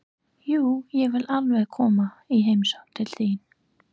Jú, ég vil alveg koma í heimsókn til þín.